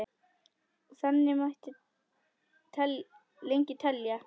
Og þannig mætti lengi telja.